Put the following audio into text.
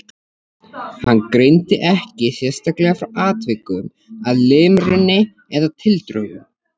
Hann greindi ekki sérstaklega frá atvikum að limrunni eða tildrögum.